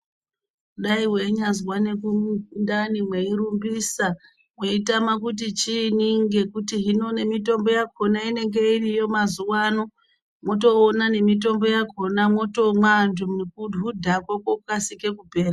Mai meinyazwa mundani mweirumbisa weitama kuti chiinyi hino mitombo yakona inenge iriyo mazuwano motoona nemitombo yakona antu nekuhudhako kwotokasike kupera.